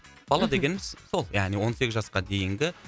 бала дегеніміз сол яғни он сегіз жасқа дейінгі